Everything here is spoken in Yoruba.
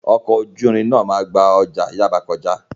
Ọkọ̀ ojú irin náà máa gba ọjà Yaba kọjá.